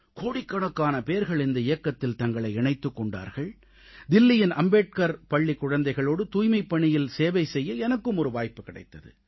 கோடிக்கணக்கான பேர்கள் இந்த இயக்கத்தில் தங்களை இணைத்துக் கொண்டார்கள் தில்லியின் அம்பேத்கர் பள்ளிக் குழந்தைகளோடு தூய்மைப்பணியில் சேவை செய்ய எனக்கும் ஒரு வாய்ப்பு கிடைத்தது